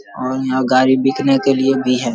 और यहाँ गाडी बिकने के लिए भी है।